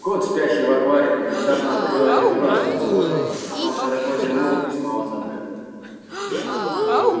кот спящий в аквариуме внезапно открыл один глаз прислушался но потом широко зевнул и снова задрых